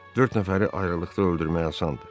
Dörd nəfəri ayrılıqda öldürmək asandır.